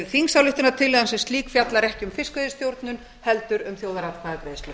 þingsályktunartillagan sem slík fjallar ekki um fiskveiðistjórnun heldur um þjóðaratkvæðagreiðslu